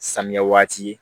Samiya waati